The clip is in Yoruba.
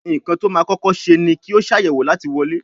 Nkán tó má kókó ṣe ní kio Ṣàyẹ̀wò láti wọlé.